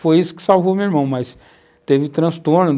Foi isso que salvou meu irmão, mas teve transtorno.